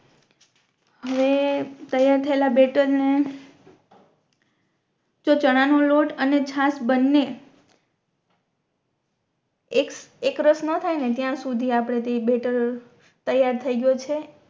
હવે તૈયાર થઇલા બેટર ને જો ચણા નો લોટ ને છાસ બનને એક એક રસ મા થાય ત્યાં સુધી આપણે તે બેટર તૈયાર થઈ ગયો છે